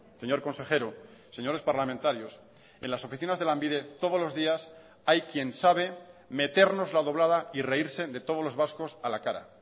señor consejero señores parlamentarios en las oficinas de lanbide todos los días hay quien sabe metérnosla doblada y reírse de todos los vascos a la cara